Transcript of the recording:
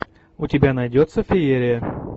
у тебя найдется феерия